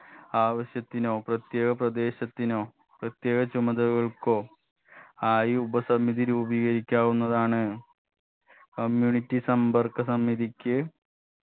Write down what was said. ആവശ്യത്തിനോ പ്രത്യേക പ്രദേശത്തിനോ പ്രത്യേക ചുമതലകൾക്കോ ആയി ഉപസമിതി രൂപീകരിക്കാവുന്നതാണ് community സമ്പർക്ക സമിതിക്ക്